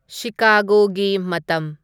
ꯁꯤꯀꯥꯒꯣꯒꯤ ꯃꯇꯝ